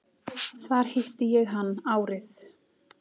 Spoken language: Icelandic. Þar hitti ég hann árið